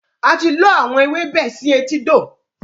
A ti lọ àwọn ewébẹ̀ sì etídò